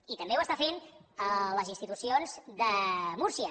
i també ho estan fent les institucions de múrcia